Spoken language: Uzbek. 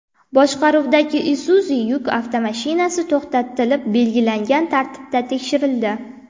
boshqaruvidagi Isuzu yuk avtomashinasi to‘xtatilib belgilangan tartibda tekshirildi.